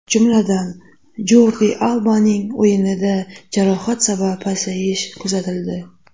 Jumladan, Jordi Albaning o‘yinida jarohat sabab pasayish kuzatildi.